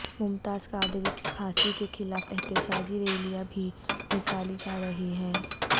ممتاز قادری کی پھانسی کے خلاف احتجاجی ریلیاں بھی نکالی جا رہی ہیں